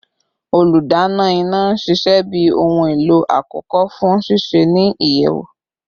Oludana ina n ṣiṣẹ bi ohun elo akọkọ fun sise ni iyẹwu